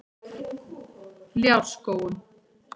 Ljárskógum